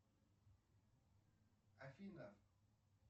афина